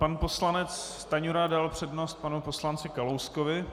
Pan poslanec Stanjura dal přednost panu poslanci Kalouskovi.